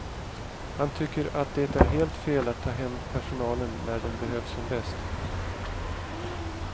Han tycker att det är helt fel att ta hem personalen när den behövs som bäst.